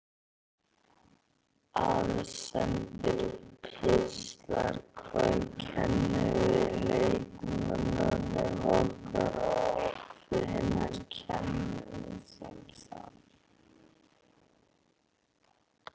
Aðsendir pistlar Hvað kennum við leikmönnunum okkar og hvenær kennum við þeim það?